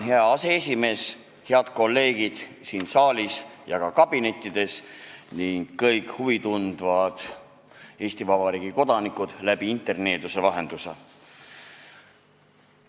Hea aseesimees, head kolleegid siin saalis ja ka kabinettides ning kõik huvi tundvad Eesti Vabariigi kodanikud, kes mind jälgivad interneeduse vahendusel!